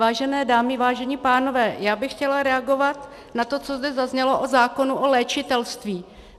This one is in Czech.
Vážené dámy, vážení pánové, já bych chtěla reagovat na to, co zde zaznělo o zákonu o léčitelství.